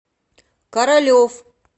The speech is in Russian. королев